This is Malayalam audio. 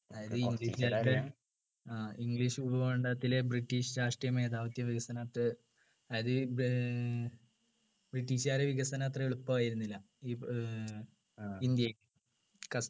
ആഹ് english ഭൂഖണ്ഡത്തിലെ british രാഷ്ട്രീയമേധാവിത്ത വികസനത്തെ അതായത് ഏർ british കാരെ വികസനം അത്ര എളുപ്പമായിരുന്നില്ല ഇപ്പൊ ഏർ ഇന്ത്യ ക